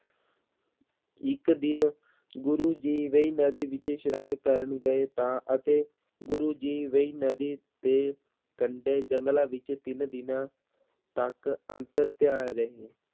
ਇੱਕ ਦਿਨ ਗੁਰੂ ਜੀ ਵੇਂਈ ਨਦੀ ਵਿੱਚ ਇਸ਼ਨਾਨ ਕਰਨ ਗਏ, ਤਾਂ ਅਤੇ ਗੁਰੂ ਜੀ ਵੇਂਈ ਨਦੀ ਦੇ ਕੰਢੇ ਜੰਗਲਾਂ ਵਿੱਚ ਤਿੰਨ ਦਿਨਾਂ ਤੱਕ ਅੰਤਰ ਧਿਆਨ ਰਹੇ।